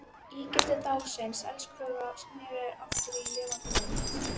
Ígildi dáins elskhuga sneri aftur í lifandi mynd.